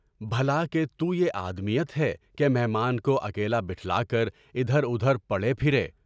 بھلا کہ تو یے آدمیت ہے کہ مہمان کو اکیلا بٹھلا کر ادھر ادھر پڑے پھریں؟